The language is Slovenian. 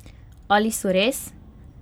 Ali so res?